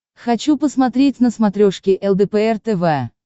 хочу посмотреть на смотрешке лдпр тв